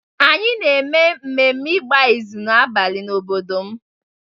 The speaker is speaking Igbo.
anyị na-eme ememme igba ịzụ n'abalị n'obodo m